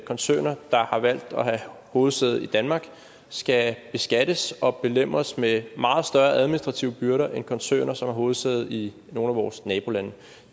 koncerner der har valgt at have hovedsæde i danmark skal beskattes og belemres med meget større administrative byrder end koncerner som har hovedsæde i nogle af vores nabolande